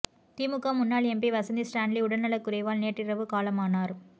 திமுக முன்னாள் MP Vasanthi Stanley உடல் நலக்குறைவால் நேற்றிரவு காலமானார்